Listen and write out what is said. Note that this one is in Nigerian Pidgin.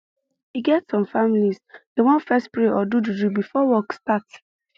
you get some families dey want fess pray or do juju before work start